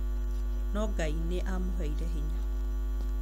No Ngai nĩ aamũheire hinya.